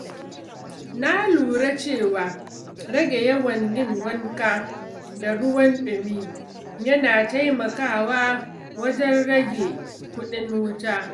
Na lura cewa rage yawan yin wanka da ruwan ɗumi yana taimakawa wajen rage kuɗin wuta.